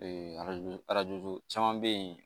arajo arajoju caman bɛ yen